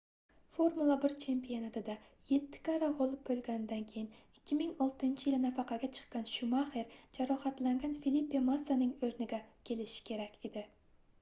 formula 1 chempionatida yetti karra gʻolib boʻlganida keyin 2006-yili nafaqaga chiqqan shumaxer jarohatlangan filipe massaning oʻrniga kelishi kerak edi